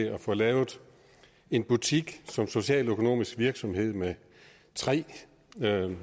at få lavet en butik som socialøkonomisk virksomhed med tre